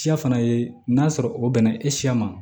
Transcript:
Siya fana ye n'a sɔrɔ o bɛnna e siya ma